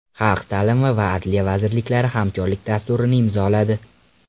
Xalq ta’limi va Adliya vazirliklari hamkorlik dasturini imzoladi.